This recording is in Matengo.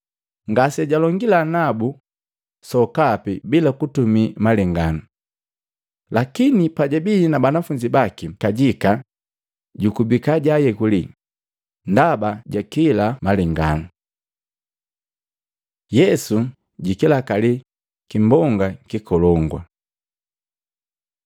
Ngasijalongila nabu sokapi bila kutumii malenganu. Lakini pajabii na banafunzi baki kajika jukubika jaayekuli ndaba jakila malengano. Yesu jikilakali kimbonga kikolongu Matei 8:23-27; Luka 8:22-25